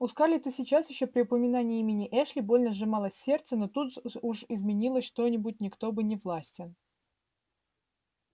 у скарлетт и сейчас ещё при упоминании имени эшли больно сжималось сердце но тут уж изменить что-нибудь никто был не властен